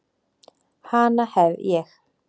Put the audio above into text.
Hana hef ég.